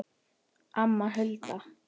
Anna Hulda.